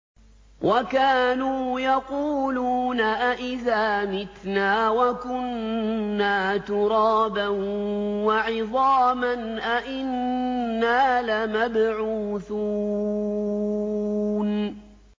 وَكَانُوا يَقُولُونَ أَئِذَا مِتْنَا وَكُنَّا تُرَابًا وَعِظَامًا أَإِنَّا لَمَبْعُوثُونَ